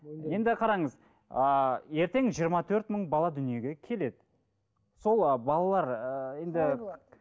енді қараңыз ыыы ертең жиырма төрт мың бала дүниеге келеді сол ы балалар ыыы енді